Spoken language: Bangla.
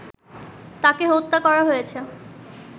তাকে হত্যা করা হয়েছে